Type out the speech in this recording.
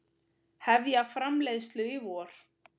Hefja framleiðslu í vor